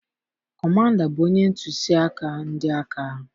Kọmanda bụ onye ntusi aka ndị aka.